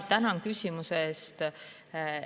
Tänan küsimuse eest!